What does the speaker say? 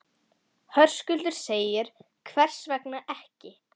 Höskuldur: Hvers vegna ekki?